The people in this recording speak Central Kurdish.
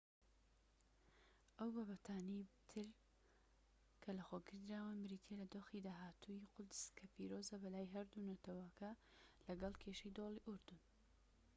ئەو بابەتانەی تر کە لەخۆگیردراون بریتیە لە دۆخی داهاتووی قودس کە پیرۆزە بەلای هەردوو نەتەوەکەوە لەگەڵ کێشەی دۆڵی ئوردون